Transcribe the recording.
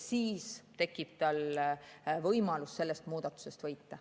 Siis tekib tal võimalus sellest muudatusest võita.